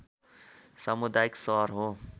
समुदायिक सहर हो